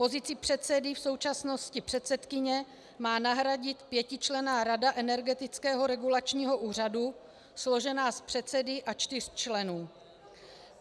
Pozici předsedy, v současnosti předsedkyně, má nahradit pětičlenná rada Energetického regulačního úřadu složená z předsedy a čtyř členů.